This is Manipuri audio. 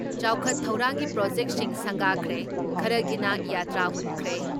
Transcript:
ꯆꯥꯎꯈꯠ ꯊꯧꯔꯥꯡꯒꯤ ꯄ꯭ꯔꯣꯖꯦꯛꯁꯤꯡ ꯁꯪꯒꯥꯈ꯭ꯔꯦ, ꯈꯔꯒꯤꯅ ꯌꯥꯇ꯭ꯔꯥ ꯍꯨꯟꯈ꯭ꯔꯦ ꯫